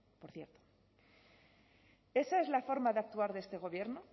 por cierto esa es la forma de actuar de este gobierno